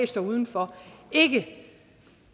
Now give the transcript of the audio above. står uden for